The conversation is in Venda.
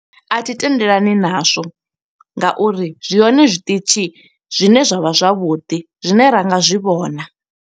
A thi tendelani na zwo nga uri zwi hone zwiṱitshi zwine zwa vha zwavhuḓi, zwine ra nga zwi vhona.